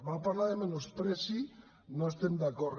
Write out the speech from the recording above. va parlar de menyspreu no hi estem d’acord